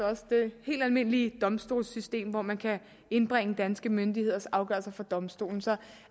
også det helt almindelige domstolssystem hvor man kan indbringe danske myndigheders afgørelser for domstolen så